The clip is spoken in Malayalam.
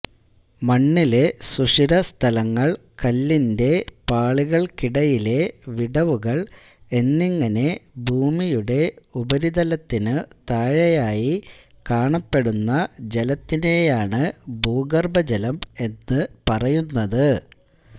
മണ്ണിലെ സുഷിരസ്ഥലങ്ങൾ കല്ലിന്റെ പാളികൾക്കിടയിലെ വിടവുകൾ എന്നിങ്ങനെ ഭൂമിയുടെ ഉപരിതലത്തിനു താഴെയായി കാണപ്പെടുന്ന ജലത്തിനെയാണ് ഭൂഗർഭജലം എന്ന് പറയുന്നത്